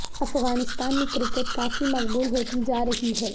افغانستان میں کرکٹ کافی مقبول ہوتی جار رہی ہے